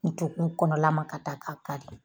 U tɛ kun kɔnɔlama ka taa k'a ka di.